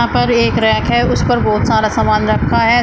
यहां पर एक रैक है उस पर बहोत सारा सामान रखा है।